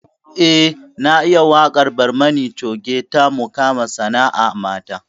Eh na iya waƙar barmani coge ta mukama sana'a mata